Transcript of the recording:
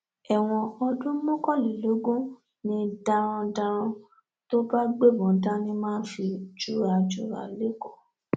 ẹwọn ọdún mọkànlélógún ni darandaran tó bá gbébọn dání máa fi jura jura lẹkọọ